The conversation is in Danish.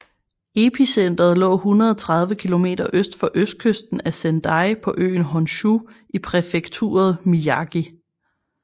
Epicentret lå 130 km øst for østkysten af Sendai på øen Honshu i præfekturet Miyagi